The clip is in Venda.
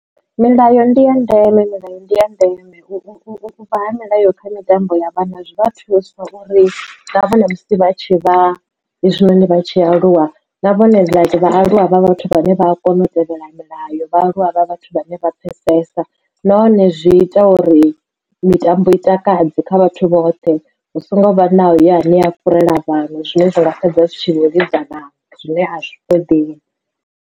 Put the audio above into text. Milayo ndi ya ndeme milayo ndi ya ndeme. U vha ha milayo kha mitambo ya vhana zwi vha thusa uri vho zwiita uri na vhone musi vha tshi vha zwino ndi vha tshi aluwa na vhone vha aluwa vha vhathu vhane vha a kona u tevhela nayo vhaaluwa vha vhathu vhane vha pfhesesa nahone zwi ita uri mitambo i takadze kha vhathu vhoṱhe hu songo vha na uyo ane a fhurela vhanwe zwine zwanga fhedza zwi tshi vho ḽidza vhanwe zwine a zwi ṱoḓei.